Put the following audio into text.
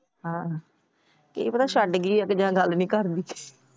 ਹਾਂ ਕੀ ਪਤਾ ਛੱਡ ਗਈ ਹੋਵੇ ਜਾ ਗੱਲ ਨਹੀਂ ਕਰਦੀ।